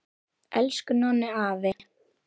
Elsku Nonni afi!